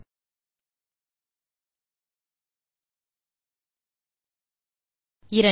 2